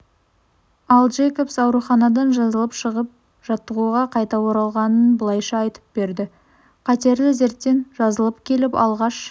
ал джейкобс ауруханадан жазылып шығып жаттығуға қайта оралғанын былайша айтып берді қатерлі дерттен жазылып келіп алғаш